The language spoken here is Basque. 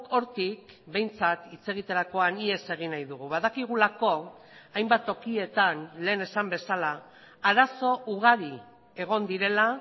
hortik behintzat hitz egiterakoan ihes egin nahi dugu badakigulako hainbat tokietan lehen esan bezala arazo ugari egon direla